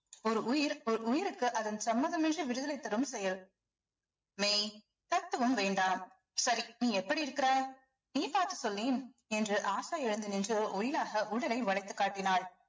ஒரு உயிர் ஒரு உயிருக்கு அதன் சம்மதமின்றி விடுதலை தரும் செயல் மெய் தத்துவம் வேண்டாம் சரி நீ எப்படி இருக்கிறாய் நீ பார்த்து சொல்லேன் என்று ஆஷா எழுந்து நின்று ஒயிலாக உடலை வளைத்துக் காட்டினாள்